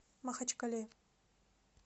махачкале